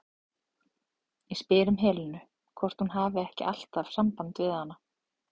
Ég spyr um Helenu, hvort hún hafi ekki alltaf samband við hana?